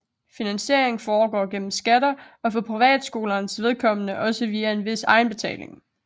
Finansieringen foregår gennem skatter og for privatskolernes vedkommende også via en vis egenbetaling